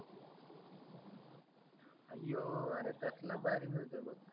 अयो अर कसला भारी मिळतोय बघ